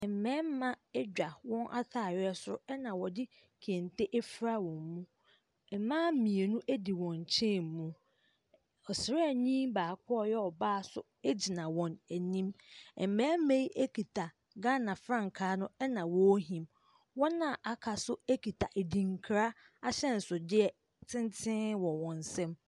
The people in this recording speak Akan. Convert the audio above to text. Mmarima adwa wɔn ataareɛ soro ɛna wɔde kente afura wɔn mu. Mmaa mmienu wɔn nkyɛn mu. Ↄsraani baako a ɔyɛ ɔbaa nso di wɔn anim. Mmarima yi kita Ghana frankaa no ɛna wɔrehim. Wɔn a wɔaka no nso kita adinkra ahyɛnsodeɛ tenten wɔ wɔn nsam.